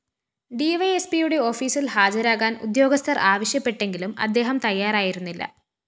ഡിവൈഎസ്പിയുടെ ഓഫീസില്‍ ഹാജരാകാന്‍ ഉദ്യോഗസ്ഥര്‍ ആവശ്യപ്പെട്ടെങ്കിലും അദ്ദേഹം തയ്യാറായിരുന്നില്ല